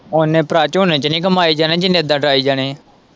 ਉਹਨੇ ਭਰਾ ਝੋਨੇ ਚ ਨੀ ਕਮਾਏ ਜਾਣੇ ਜਿੰਨੇ ਇੱਦਾ ਡਾਈ ਜਾਣੇ ਏ।